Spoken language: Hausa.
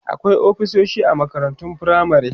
akwai ofisoshi a makarantun firamare